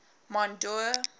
mondeor